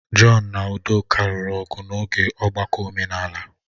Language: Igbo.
John na udoka lụrụ ọgụ n'oge ọgbakọ omenala.